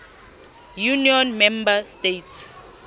union member states